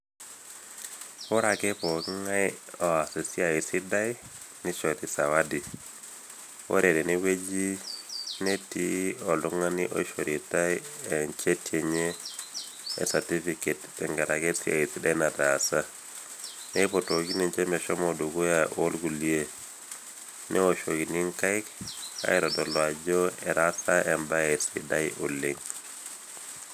Oreake pooking'ai oas esiai sidai neishori sawadi. Ore tenewueji netii oltung'ani oishoritai  encheti enye e satifiket tengaraki esiai sidai nataasa. Neeipotoki ninche meshomo dukuya oolkulie, neoshokini nkaik aitodolu ajo etaasa embae sidai oleng'.